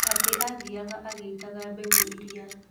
Atĩ athiaga agĩitaga mbegũ iria.